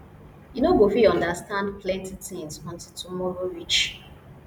you no go fit understand plenty tins untill tomorrow reach